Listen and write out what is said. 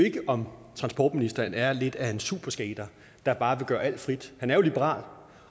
ikke om transportministeren er lidt af en superskater der bare vil gøre alt frit han er jo liberal